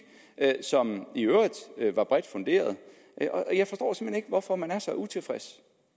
som i øvrigt var bredt funderet jeg forstår simpelt hen ikke hvorfor man er så utilfreds